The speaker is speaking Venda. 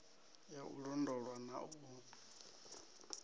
ya u londolwa na u